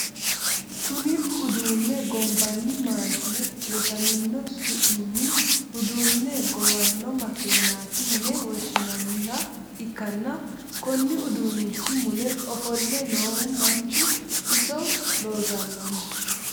kuni uduunne gombanni maashine rosamino su'minni udduune gowanno makeenaati yine woshshinanniha ikkanna, konni uduunnichi mule ofo'le noohu manchu iso loosannoho?